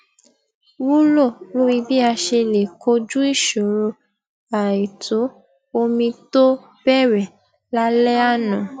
wúlò lórí bí a ṣe lè kojú ìṣòro àìtó omi tó bẹrẹ lálẹ àná